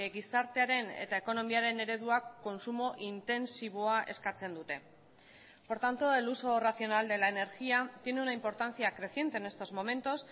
gizartearen eta ekonomiaren ereduak kontsumo intentsiboa eskatzen dute por tanto el uso racional de la energía tiene una importancia creciente en estos momentos